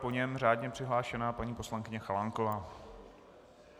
Po něm řádně přihlášená paní poslankyně Chalánková.